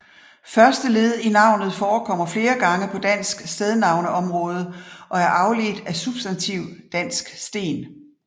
Første led i navnet forekommer flere gange på dansk stednavneområde og er afledt af substantiv dansk sten